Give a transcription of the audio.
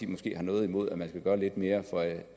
måske har noget imod at man skal gøre lidt mere for